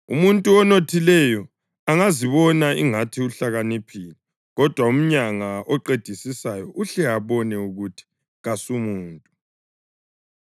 Umuntu onothileyo angazibona ingathi uhlakaniphile, kodwa umyanga oqedisisayo uhle abone ukuthi kasumuntu.